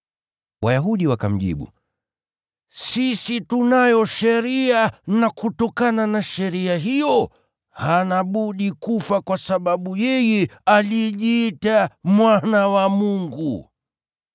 Wayahudi wakamjibu, “Sisi tunayo sheria na kutokana na sheria hiyo, hana budi kufa kwa sababu yeye alijiita Mwana wa Mungu.”